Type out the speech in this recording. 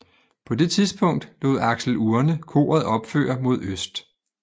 På det tidspunkt lod Axel Urne koret opføre mod øst